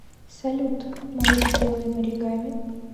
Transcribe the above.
салют может сделаем оригами